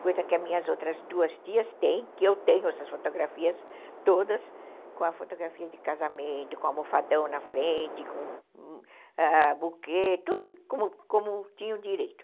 Coisa que as minhas outras duas tias têm, que eu tenho essas fotografias todas com a fotografia de casamento, com almofadão na frente, com ãh buquê, tudo como como tinha o direito.